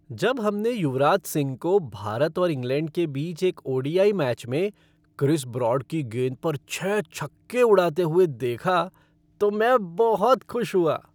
जब हमने युवराज सिंह को भारत और इंग्लैंड के बीच एक ओ.डी.आई. मैच में क्रिस ब्रॉड की गेंद पर छह छक्के उड़ाते हुए देखा तो मैं बहुत खुश हुआ।